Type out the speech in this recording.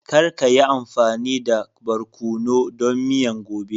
Kar ka yi amfani da barkonu don miyan gobe!